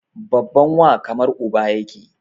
Babban wa kamar uba yake